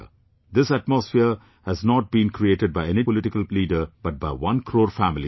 This atmosphere has not been created by any political leader but by one crore families of India